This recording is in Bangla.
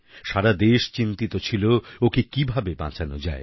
সারা দেশ চিন্তিত ছিল ওকে কিভাবে বাঁচানো যায়